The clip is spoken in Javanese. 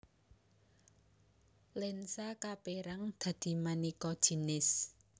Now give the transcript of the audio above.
Lensa kaperang dadi maneka jinis